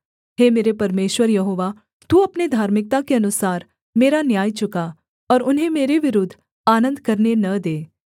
हे मेरे परमेश्वर यहोवा तू अपने धार्मिकता के अनुसार मेरा न्याय चुका और उन्हें मेरे विरुद्ध आनन्द करने न दे